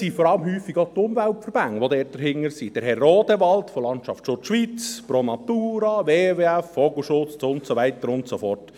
Vor allem sind häufig die Umweltverbände dahinter, wie Herr Rodewald von der Stiftung Landschaftsschutz Schweiz, Pro Natura, WWF, Vogelschutz und so weiter und so fort.